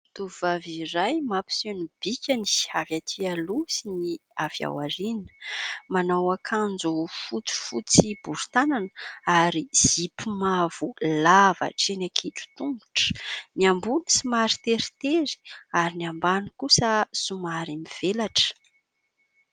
Tovovavy iray mampiseho ny bikany avy aty aloha sy ny avy aoriana, manao akanjo fotsifotsy bori-tanana ary zipo mavo lava hatreny ankitro-tongotra: ny ambony somary teritery ary ny ambany kosa somary mivelatra.